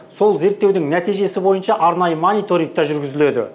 сол зерттеудің нәтижесі бойынша арнайы мониторинг та жүргізіледі